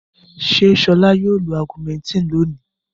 Ṣé Ṣọlá yóò lo Augumentin lónìí?